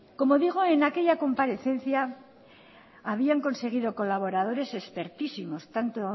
como digo en aquella comparecencia habían conseguido colaboradores expertísimos tanto